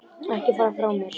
Ekki fara frá mér!